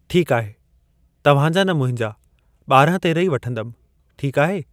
ठीक आहे, तव्हां जा न मुंहिंजा ॿारहं तेरहं ई वठंदमि, ठीक आहे।